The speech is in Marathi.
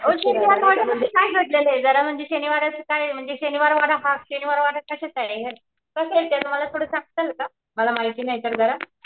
वो शनिवार वाड्यामध्ये काय घड्लेलये जरा म्हणजे शनिवार असं काय म्हणजे शनिवार वाडा कसये मला थोडं सांगताल का? मला माहिती नाहीतर जरा.